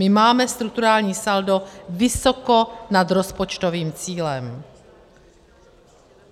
My máme strukturální saldo vysoko nad rozpočtovým cílem.